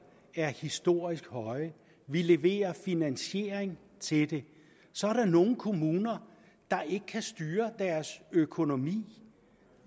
er historisk høje og vi leverer finansiering til det så er der nogle kommuner der ikke kan styre deres økonomi